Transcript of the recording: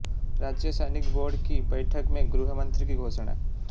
राज्य सैनिक बोर्ड की बैठक में गृह मंत्री की घोषणा